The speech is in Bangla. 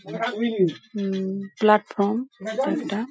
উম প্লাটফর্ম এটা একটা।